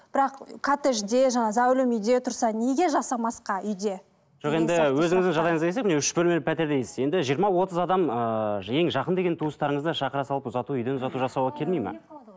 бірақ коттеджде жаңағы зәулім үйде тұрса неге жасамасқа үйде жоқ енді өзіңіздің жағдайыңыз келсе міне үш бөлмелі пәтер дейсіз енді жиырма отыз адам ыыы ең жақын деген туыстарыңызды шақыра салып ұзату үйден ұзату жасауға келмейді ме